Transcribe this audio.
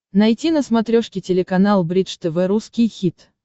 найти на смотрешке телеканал бридж тв русский хит